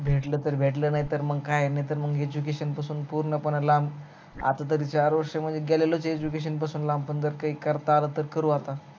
भेटल तर भेटल नाही तर मग काय आहे education पासून पूर्ण लांब आतातरी चार वर्ष गेलेच आहे education लांब पण काही करता आल तर करू आता